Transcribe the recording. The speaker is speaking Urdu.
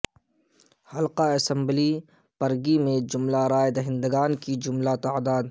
حلقہ اسمبلی پرگی میں جملہ رائے دہندگان کی جملہ تعداد